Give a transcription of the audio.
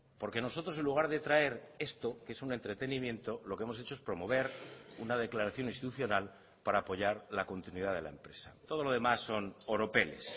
porque nosotros en lugar de traer esto que es un entretenimiento lo que hemos hecho es promover una declaración institucional para apoyar la continuidad de la empresa todo lo demás son oropeles